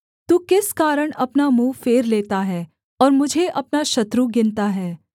तू किस कारण अपना मुँह फेर लेता है और मुझे अपना शत्रु गिनता है